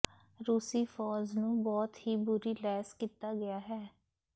ਰੂਸੀ ਫ਼ੌਜ ਨੂੰ ਬਹੁਤ ਹੀ ਬੁਰੀ ਲੈਸ ਕੀਤਾ ਗਿਆ ਹੈ